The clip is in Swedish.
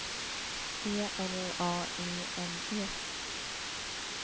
E L A I N E